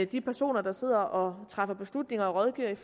de personer der sidder og træffer beslutning og rådgiver